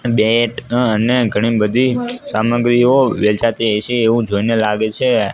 બેટ અને ઘણી બધી સામગ્રીઓ વેચાતી હયસે એવુ જોઈને લાગે છે.